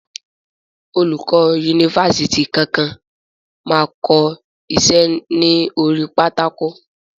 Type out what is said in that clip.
Olùkọ yunifásítì kankan ma ko iṣẹ́ ni orí pátákó.